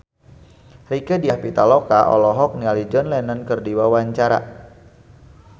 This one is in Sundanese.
Rieke Diah Pitaloka olohok ningali John Lennon keur diwawancara